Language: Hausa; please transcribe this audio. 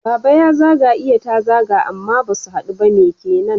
Baba ya zaga iya ta zaga amma basu haɗu ba. Me kenan?